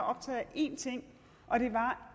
én ting og det var